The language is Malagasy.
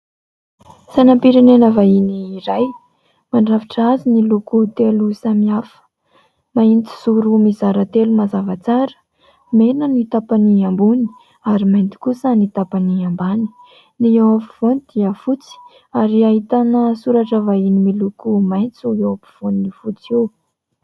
Sainam-pirenena vahiny iray. Mandrafitra azy ny loko telo samihafa. Mahitsizoro mizara telo mazava tsara, mena ny tapany ambony ary mainty kosa ny tapany ambany. Ny eo afovoany dia fotsy ary ahitana soratra vahiny miloko maitso eo ampovoan'io fotsy io.